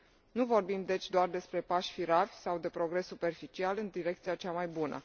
Nu vorbim, deci, doar despre pași firavi sau de progres superficial în direcția cea mai bună.